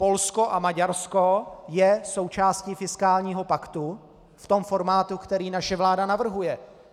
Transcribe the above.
Polsko a Maďarsko jsou součástí fiskálního paktu v tom formátu, který naše vláda navrhuje.